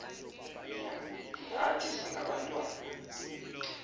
nya nathi singabantwana